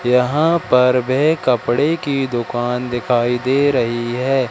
यहां पर वे कपड़े की दुकान दिखाई दे रही है।